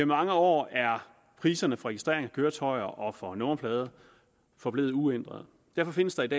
mange år er priserne for registrering af køretøjer og for nummerplader forblevet uændrede derfor findes der et